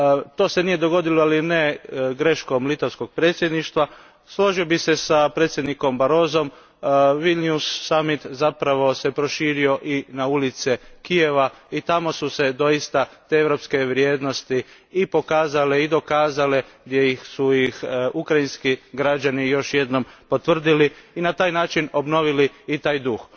To se nije dogodilo, ali ne greškom litavskog predsjedništva. Složio bih se s predsjednikom Barrosom iz Vilniusa zapravo se proširio i na ulice Kijeva i tamo su se doista te europske vrijednosti i pokazale i dokazale, gdje su ih ukrajinski građani još jednom potvrdili i na taj način obnovili i taj duh.